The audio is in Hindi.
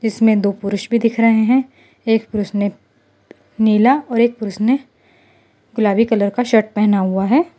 इसमें दो पुरुष भी दिख रहे हैं एक पुरुष ने नीला और एक पुरुष ने गुलाबी कलर का शर्ट पहना हुआ है।